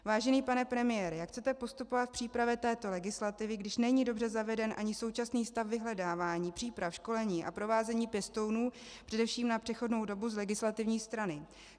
Vážený pane premiére, jak chcete postupovat při přípravě této legislativy, když není dobře zaveden ani současný stav vyhledávání, příprav, školení a provázení pěstounů především na přechodnou dobu z legislativní strany?